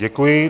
Děkuji.